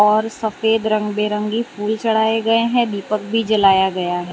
और सफेद रंग बिरंगी फूल चढ़ाये गए हैं दीपक भी जलाया गया--